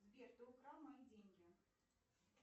сбер ты украл мои деньги